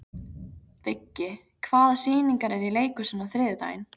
Viggi, hvaða sýningar eru í leikhúsinu á þriðjudaginn?